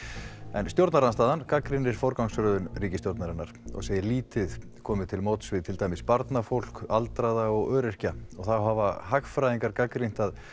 en stjórnarandstaðan gagnrýnir forgangsröðun ríkisstjórnarinnar og segir lítið komið til móts við til dæmis barnafólk aldraða og öryrkja og þá hafa hagfræðingar gagnrýnt að